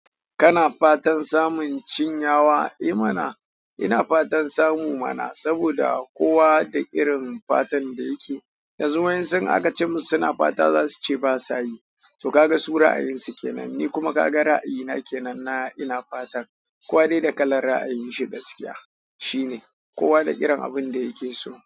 Kana fatan samun cin yawa? Eh mana, ina fatan samu mana saboda kowa da irin fatan da yake. Yanzu wayan sun in aka ce musu suna fata za su ce basa yi. To ka ga su ra'ayin su kenan, ni kuma ka ga ra'ayi na kenan na ina fata. Kowa dai da kalar ra'ayin shi gaskiya. Shi ne, kowa da irin abun da yake so.